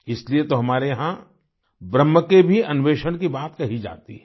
इसीलिए तो हमारे यहाँ ब्रह्म के भी अन्वेषण की बात कही जाती है